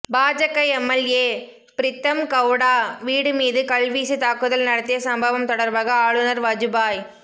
பாஜக எம்எல்ஏ பிரீத்தம்கெளடா வீடு மீது கல்வீசி தாக்குதல் நடத்திய சம்பவம் தொடர்பாக ஆளுநர் வஜுபாய்